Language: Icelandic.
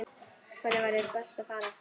Hvert væri best að fara?